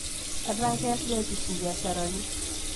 Etaa keas diocese mbiasharani